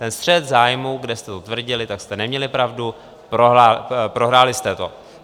Ten střet zájmů, kde jste to tvrdili, tak jste neměli pravdu, prohráli jste to.